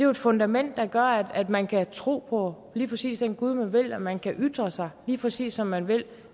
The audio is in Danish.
et fundament der gør at man kan tro på lige præcis den gud man vil at man kan ytre sig lige præcis som man vil at